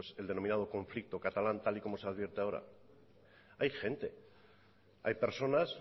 el denominado conflicto catalán tal y como se advierte ahora hay gente hay personas